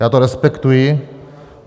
Já to respektuji.